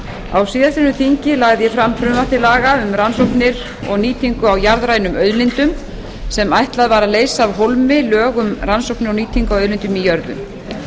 jörðu á síðastliðnu þingi lagði ég fram frumvarp til laga um rannsóknir og nýtingu á jarðrænum auðlindum sem ætlað var að leysa af hólmi lög um rannsóknir og nýtingu á auðlindum í jörðu